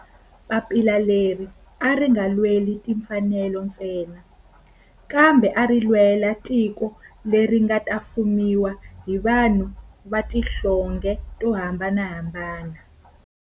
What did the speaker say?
Papila leri a ri nga lweli timfanelo ntsena kambe ari lwela tiko leri nga ta fumiwa hi vanhu va tihlonge to hambanahambana.